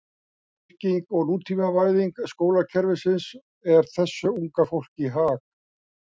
Styrking og nútímavæðing skólakerfisins er þessu unga fólki í hag.